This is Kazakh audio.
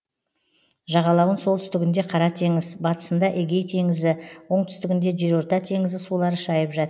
жағалауын солтүстігінде қара теңіз батысында эгей теңізі оңтүстігінде жерорта теңізі сулары шайып жат